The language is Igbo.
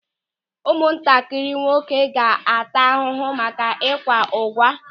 Ụmụntakịrị nwoke ga-ata n'ahụhụ maka ịkwa ụ̀gwa.